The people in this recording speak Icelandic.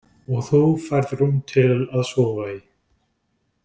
Og þú færð rúm til að sofa í.